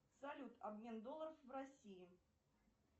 салют обмен долларов в россии